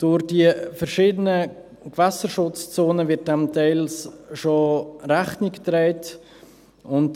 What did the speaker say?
Durch die verschiedenen Gewässerschutzzonen wird dem zum Teil schon Rechnung getragen.